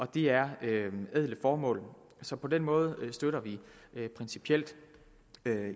det er ædle formål så på den måde støtter vi principielt